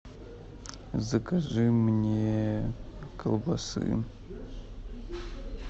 закажи мне колбасы